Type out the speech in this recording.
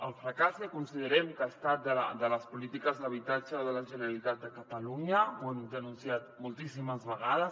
el fracàs que considerem que han estat les polítiques d’habitatge de la generalitat de catalunya ho hem denunciat moltíssimes vegades